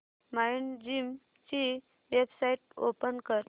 Mindgym ची website open कर